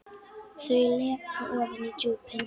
Þau leka ofan í djúpin.